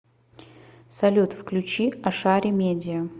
салют включи ашари медиа